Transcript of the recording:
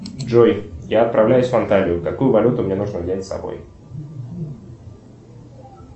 джой я отправляюсь в анталию какую валюту мне нужно взять с собой